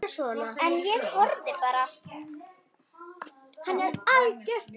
En ég horfði bara.